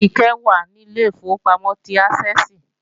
Kíkẹ́ wà ní Ilé ìfowópamọ́ ti Ásẹ́ẹ̀sì